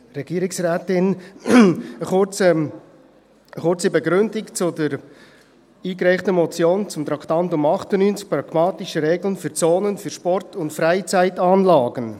Eine kurze Begründung zur eingereichten Motion, zu Traktandum 98: Pragmatische Regeln für Zonen für Sport- und Freizeitanlagen.